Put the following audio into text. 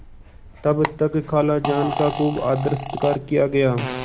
तब तक खालाजान का खूब आदरसत्कार किया गया